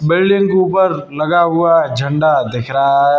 Building के ऊपर लगा हुआ झंडा दिख रहा है।